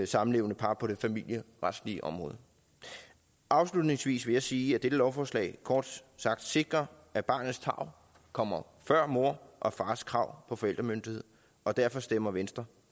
samlevende par på det familieretlige område afslutningsvis vil jeg sige at dette lovforslag kort sagt sikrer at barnets tarv kommer før mors og fars krav på forældremyndighed og derfor stemmer venstre